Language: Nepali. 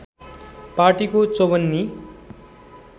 पार्टीको चौवन्नी